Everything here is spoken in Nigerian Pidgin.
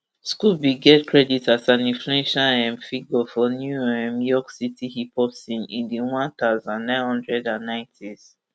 scoop bin get credit as an influential um figure for new um york city hip hop scene in di one thousand, nine hundred and ninetys